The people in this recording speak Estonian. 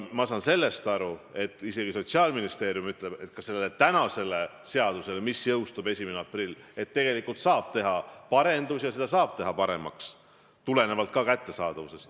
Ma saan aru, et isegi Sotsiaalministeerium ütleb, et ka selles seaduses, mis jõustub 1. aprillil, saab teha parandusi ja seda saab teha paremaks, tulenevalt ka ravimite kättesaadavusest.